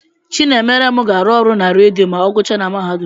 Chinemerem ga-arụ ọrụ na redio ma ọ guchae n'mahadum.